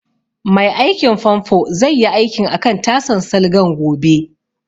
Mai aikin fanfo zai yi aikin akan tasan salgan gobe